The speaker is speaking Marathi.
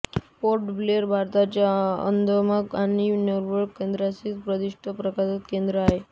पोर्ट ब्लेर भारताच्या अंदमान आणि निकोबार केंद्रशासित प्रदेशाचे प्रशासकीय केंद्र आहे